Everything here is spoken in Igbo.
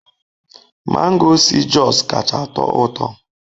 Mango si Jos kacha atọ ụtọ